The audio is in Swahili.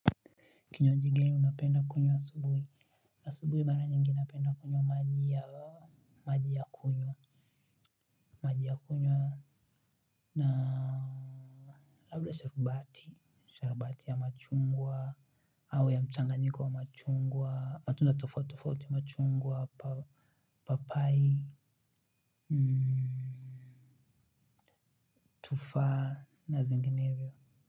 Kinywaji gani unapenda kunywa asubuhi asubuhi mara nyingi napenda kunywa maji ya maji ya kunywa na labda sharubati sharubati ya machungwa au ya mchanga nyiko wa machungwa matunda tofautitofauti machungwa papai tufaha na zinginevyo.